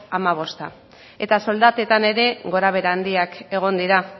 hamabosta eta soldatetan ere gorabehera handiak egon dira